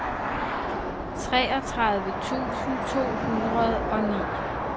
treogtredive tusind to hundrede og ni